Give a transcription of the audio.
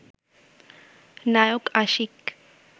Naik Ashiq